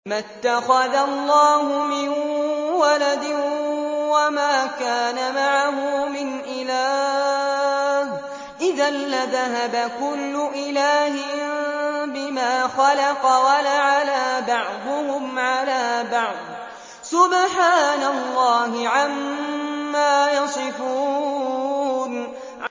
مَا اتَّخَذَ اللَّهُ مِن وَلَدٍ وَمَا كَانَ مَعَهُ مِنْ إِلَٰهٍ ۚ إِذًا لَّذَهَبَ كُلُّ إِلَٰهٍ بِمَا خَلَقَ وَلَعَلَا بَعْضُهُمْ عَلَىٰ بَعْضٍ ۚ سُبْحَانَ اللَّهِ عَمَّا يَصِفُونَ